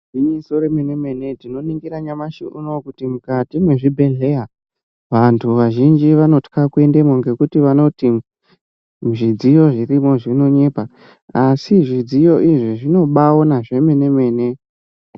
Gwinyiso remene-mene tinoningira nyamashi uno kuti mukati mwezvibhehleya vantu vazhinji vanotya kuendemwo ngekuti vanoti zvidziyo zvirimwo zvinonyepa. Asi zvidziyo izvi zvinobaaona zvemene-mene.